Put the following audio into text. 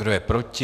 Kdo je proti?